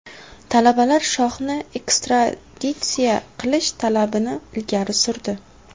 Talabalar shohni ekstraditsiya qilish talabini ilgari surdi.